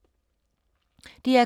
DR K